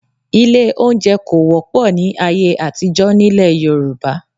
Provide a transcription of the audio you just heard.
Ilé-oúnjẹ kò wọ́pọ̀ ni ayé àtijọ́ nílẹ̀ Yorùbá